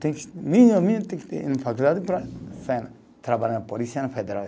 Mínimo, mínimo, tem que ter faculdade para trabalhar na Polícia Federal.